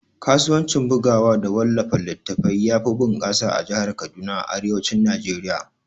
Kasuwanci bugawa da wallafa littatafai yafi bunƙasa a jahar Kaduna a arewacin Najeriya